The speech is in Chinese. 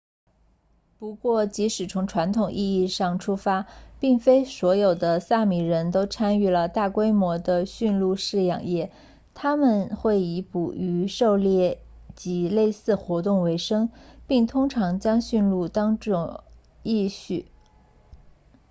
不过即使从传统意义上出发并非所有的萨米人都参与了大规模的驯鹿饲养业他们会以捕鱼狩猎及类似活动为生并通常将驯鹿当作役畜